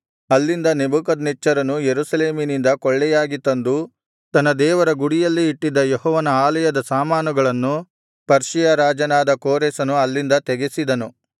ಅಲ್ಲಿಂದ ನೆಬೂಕದ್ನೆಚ್ಚರನು ಯೆರೂಸಲೇಮಿನಿಂದ ಕೊಳ್ಳೆಯಾಗಿ ತಂದು ತನ್ನ ದೇವರ ಗುಡಿಯಲ್ಲಿ ಇಟ್ಟಿದ್ದ ಯೆಹೋವನ ಆಲಯದ ಸಾಮಾನುಗಳನ್ನು ಪರ್ಷಿಯ ರಾಜನಾದ ಕೋರೆಷನು ಅಲ್ಲಿಂದ ತೆಗೆಸಿದನು